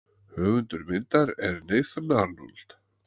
Höfundur myndar er Nathan Arnold.